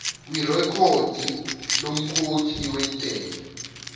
kwirekhodi lomkhokhi wentela